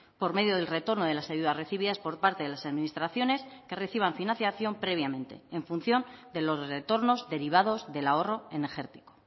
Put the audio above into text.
por medio del retorno de las ayudas recibidas por parte de las administraciones que reciban financiación previamente en función de los retornos derivados del ahorro energético